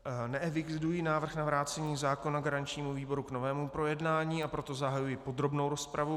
Neeviduji návrh na vrácení zákona garančnímu výboru k novému projednání, a proto zahajuji podrobnou rozpravu.